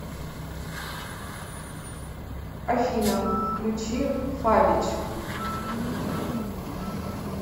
афина включи фабич